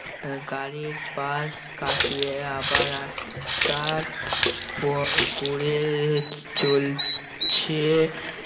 আহ গাড়ির পাশ কাটিয়ে আবার রাস্তার পর গড়িয়ে চলছে